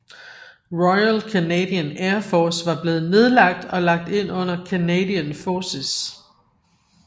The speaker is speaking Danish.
Royal Canadian Air Force var blevet nedlagt og lagt ind under Canadian Forces